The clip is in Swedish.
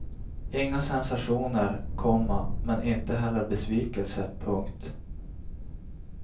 Inga sensationer, komma men inte heller besvikelse. punkt